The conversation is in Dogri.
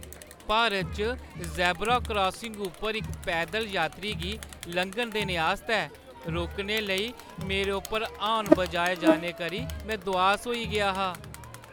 भारत च ज़ेब्रा क्रासिंग उप्पर इक पैदल यात्री गी लंघन देने आस्तै रुकने लेई मेरे उप्पर हार्न बजाए जाने करी में दुआस होई गेआ हा।